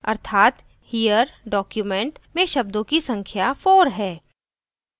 अर्थात here document में शब्दों की संख्या 4 है